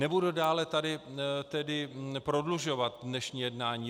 Nebudu dále tedy prodlužovat dnešní jednání.